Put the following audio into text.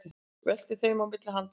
Veltir þeim á milli handanna.